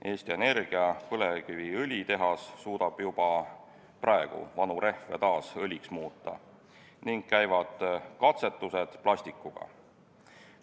Eesti Energia põlevkiviõlitehas suudab juba praegu vanu rehve taas õliks muuta ning käivad katsetused plastikuga.